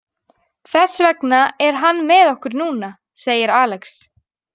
Þess vegna er hann með okkur núna, segir Alex.